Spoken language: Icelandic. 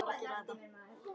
Það má guð vita.